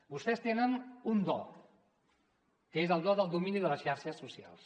vostès tenen un do que és el do del domini de les xarxes socials